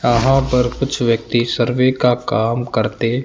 यहां पर कुछ व्यक्ति सर्वे का काम करते--